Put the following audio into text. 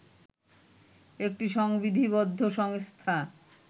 একটি সংবিধিবদ্ধ সংস্থা